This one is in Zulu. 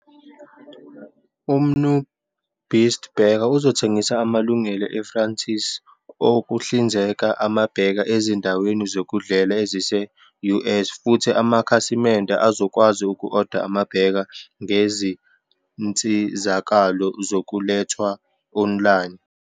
UMnuBeast Burger uzothengisa amalungelo e-franchise okuhlinzeka ama-burger ezindaweni zokudlela ezise-US futhi amakhasimende azokwazi uku-oda ama-burger ngezinsizakalo zokulethwa online.